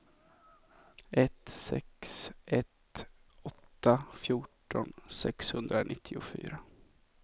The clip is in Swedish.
ett sex ett åtta fjorton sexhundranittiofyra